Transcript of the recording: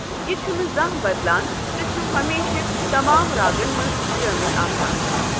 یہِ چھُنہٕ زانٛہہ بَدلان تہٕ چھُ ہمیشہ تمام راگن منٛز شٲمِل آسان۔